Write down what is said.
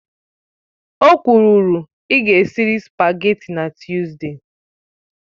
O kwuru, ịga esirila sụpágètị̀ na Tuzdee!